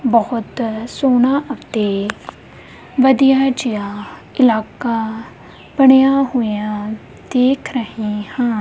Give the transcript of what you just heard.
ਬਹੁਤ ਸੋਹਣਾ ਅਤੇ ਵਧੀਆ ਜਿਹਾ ਇਲਾਕਾ ਬਣਿਆ ਹੋਇਆ ਦੇਖ ਰਹੇ ਹਾਂ।